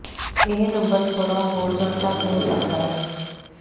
ਇਹ ਨੰਬਰ ਥੋੜ੍ਹਾ ਹੋਰ ਜ ਘੱਟ ਹੋ ਸਕਦਾ ਹੈ